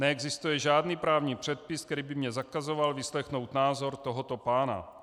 Neexistuje žádný právní předpis, který by mi zakazoval vyslechnout názor tohoto pána.